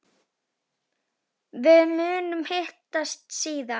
Við munum hittast síðar.